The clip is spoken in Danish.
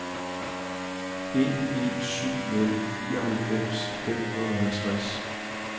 en en syv nul nioghalvfems fem hundrede og halvtreds